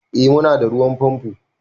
Eh mu na da ruwan famfo